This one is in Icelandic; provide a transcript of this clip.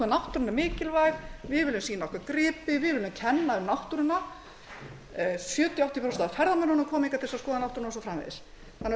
er mikilvæg við viljum sýna okkar gripi vi viljum kenna um náttúruna sjötíu til áttatíu prósent af ferðamönnunum koma hingað til þess að skoða náttúruna og svo framvegis þannig að